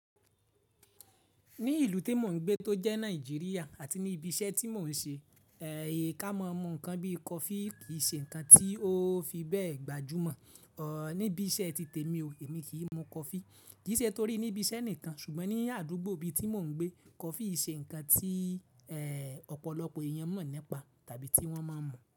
Ní ìlú tí mò ń gbé tó jẹ́ Nàìjíríà àti ní ibi iṣẹ́ tí mò ń ṣe, ẹ́, e káma mu ǹkan bí coffee kì í ṣe ǹkan tí ó fi bẹ́ẹ̀ gbajúmọ̀. Ọ́, níbi iṣẹ́ ti tèmi o, èmi kì í mu coffee. Kì í ṣe torí níbi iṣẹ́ nìkan, ṣùgbọ́n ní àdúgbò bí tí mò ń gbé, coffee n ṣe ǹkan tí, ẹ́, ọ̀pọ̀lọpọ̀ èèyàn mọ̀ nípa tàbí tí wọ́n máa ń mú.